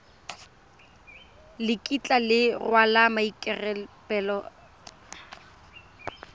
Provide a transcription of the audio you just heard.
le kitla le rwala maikarabelo